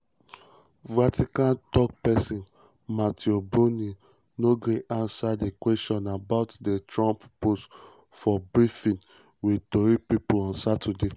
vatican tok-tok pesin matteo bruni no gree ansa um questions about di trump post for briefing for briefing wit tori pipo on um saturday.